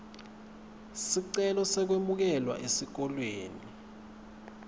sicelo sekwemukelwa esikolweni